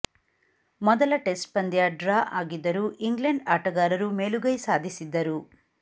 ಮೊದಲ ಟೆಸ್ಟ್ ಪಂದ್ಯ ಡ್ರಾ ಆಗಿದ್ದರೂ ಇಂಗ್ಲೆಂಡ್ ಆಟಗಾರರು ಮೇಲು ಗೈ ಸಾಧಿಸಿದ್ದರು